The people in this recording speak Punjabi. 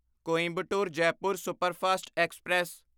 Coimbatore Jaipur superfast express